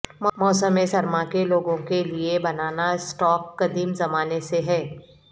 موسم سرما کے لوگوں کے لئے بنانا اسٹاک قدیم زمانے سے ہے